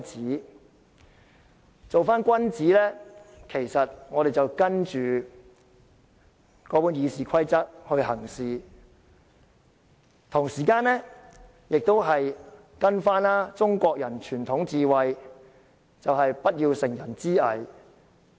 如要做君子，我們便應依照《議事規則》行事，同時依循中國人的傳統智慧，不要乘人之危。